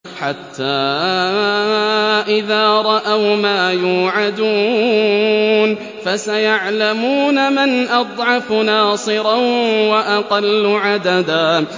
حَتَّىٰ إِذَا رَأَوْا مَا يُوعَدُونَ فَسَيَعْلَمُونَ مَنْ أَضْعَفُ نَاصِرًا وَأَقَلُّ عَدَدًا